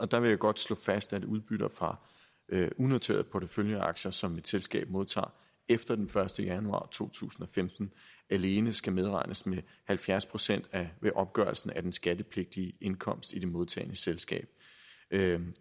der vil jeg godt slå fast at udbytter fra unoterede porteføljeaktier som et selskab modtager efter den første januar to tusind og femten alene skal medregnes med halvfjerds procent ved opgørelsen af den skattepligtige indkomst i det modtagende selskab